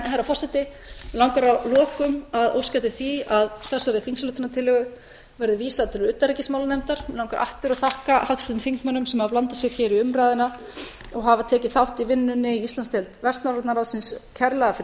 herra forseti mig langar að lokum að óska eftir því að þessari þingsályktunartillögu verði vísað til utanríkismálanefndar mig langar aftur að þakka háttvirtum þingmönnum sem hafa blandað sér hér í umræðuna og hafa tekið þátt í vinnunni í íslandsdeild vestnorræna ráðsins kærlega fyrir